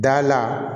Da la